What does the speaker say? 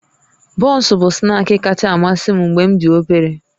Bọnsụ bụ snaakị kacha amasị m mgbe m dị obere